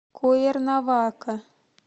куэрнавака